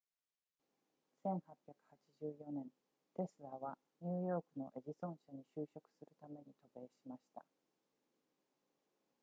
1884年テスラはニューヨークのエジソン社に就職するために渡米しました